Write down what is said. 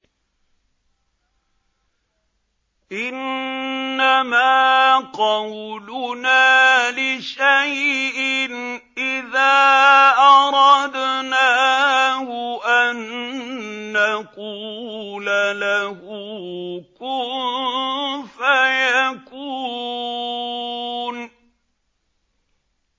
إِنَّمَا قَوْلُنَا لِشَيْءٍ إِذَا أَرَدْنَاهُ أَن نَّقُولَ لَهُ كُن فَيَكُونُ